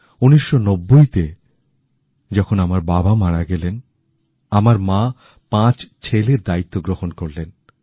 ১৯৯০ তে যখন আমার বাবা মারা গেলেন আমার মা পাঁচ ছেলের দায়িত্ব গ্রহন করলেন